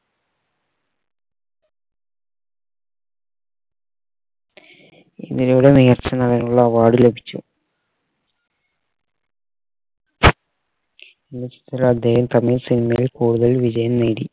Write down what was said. ഇതിലൂടെ മികച്ച നടനുള്ള award ലഭിച്ചു അദ്ദേഹം തമിഴ് cinema യിൽ കൂടുതൽ വിജയം നേടി